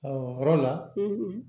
o yɔrɔ la